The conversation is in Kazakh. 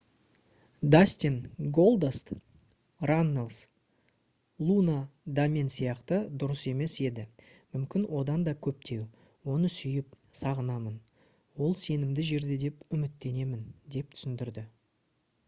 дастин «голдаст» раннелс «луна да мен сияқты дұрыс емес еді...мүмкін одан да көптеу...оны сүйіп сағынамын...ол сенімді жерде деп үміттенемін» деп түсіндірді